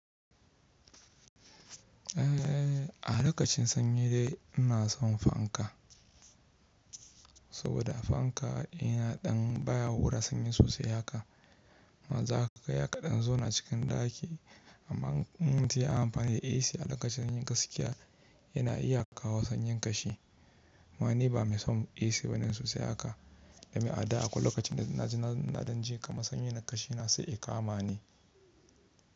Eh, a lokacin sanyi dai ina son fanka, saboda fanka yana ɗan, baya hura sanyi sosai haka, Maza ka ga ya kaɗan zona cikin ɗaki amma in mutum ya yi amfani da AC a lokacin sanyin gaskiya yana iya kawo sanyin ƙashi. Amma ni ba mai son AC ba ne sosai haka, ya sabi ada a kwai lokacin da na ji na ɗan ji kama sanyi na ƙashi na sai i kama ni.